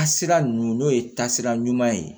A sira ninnu n'o ye taasira ɲuman ye